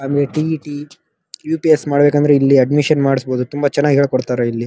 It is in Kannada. ಆಮೇಲೆ ಟಿ ಟಿ ಯು.ಪಿ.ಸ್ ಮಾಡಬೇಕು ಅಂದ್ರೆ ಇಲ್ಲಿ ಅಡ್ಮಿಶನ್ ಮಾಡಬಹುದು ತುಂಬಾ ಚೆನ್ನಾಗಿ ಹೇಳಿಕೊಡ್ತಾರೆ ಇಲ್ಲಿ.